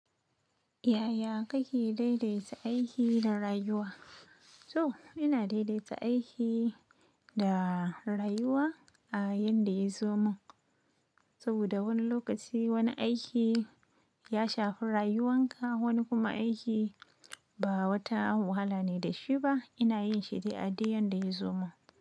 Yaya kake daidaita aiki da rayuwa? To ina daidaita aiki da rayuwa a yanda ya zo mun. Saboda wani lokaci wani aiki ya shafi rayuwanka, wani kuma aiki ba wata wahala ne da shi ba. Ina yin shi dai a duk yanda yazo mun.